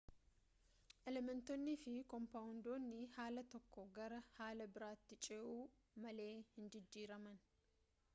elementoonniifi koompaawondiiwwan haala tokkoo gara haala biraatti ce'u malee hin jijjiiraman